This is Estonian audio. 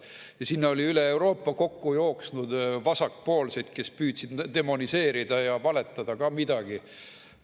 Ja sinna oli üle Euroopa kokku jooksnud vasakpoolseid, kes püüdsid demoniseerida ja valetada ka midagi.